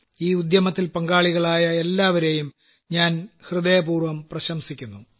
ഈ ഉദ്യമത്തിൽ പങ്കാളികളായ എല്ലാവരേയും ഞാൻ ഹൃദയപൂർവ്വം പ്രശംസിക്കുന്നു